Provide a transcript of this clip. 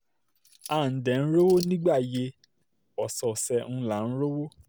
a dẹ̀ ń rówó nígbà yẹ ọ̀sọ̀ọ̀sẹ̀ là ń rí owó